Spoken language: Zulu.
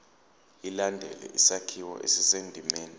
ilandele isakhiwo esisendimeni